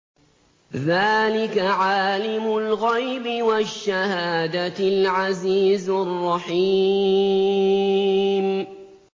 ذَٰلِكَ عَالِمُ الْغَيْبِ وَالشَّهَادَةِ الْعَزِيزُ الرَّحِيمُ